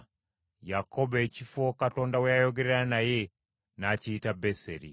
Yakobo ekifo Katonda we yayogerera naye n’akiyita Beseri.